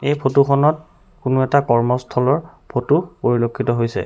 এই ফটোখনত কোনো এটা কৰ্মস্থলৰ ফটো পৰিলক্ষিত হৈছে।